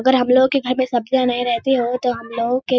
अगर हमलोग के घर में सब्जियां नहीं रहती हो तो हमलोग के --